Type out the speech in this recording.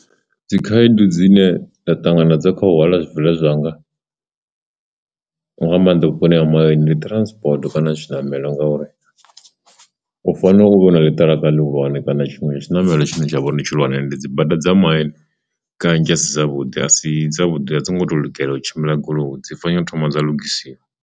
Dzikhaedu dzine nda ṱangana dza kha u hwala zwibveledzwa zwanga nga maanḓa vhuponi ha mahayani ndi transport kana tshinamelo ngauri, u fanela uvha na ḽitiraka lihulwane kana tshiṅwe tshinamelo tshine tsha vha uri ndi tshihulwane ndi dzi bada dza main kanzhi asi dzavhuḓi asi dzavhuḓi a dzi ngo to lugelwa u tshimbila goloi dzi fanela thoma dza lugisiwa.